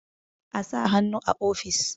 a sa hannu a ofis!